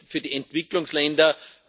für die Entwicklungsländer.